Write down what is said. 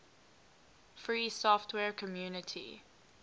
free software community